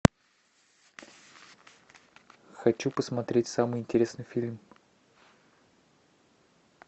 хочу посмотреть самый интересный фильм